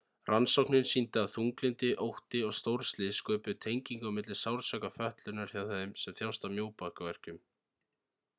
rannsóknin sýndi að þunglyndi ótti og stórslys sköpuðu tengingu á milli sársauka fötlunar hjá þeim sem þjást af mjóbakverkjum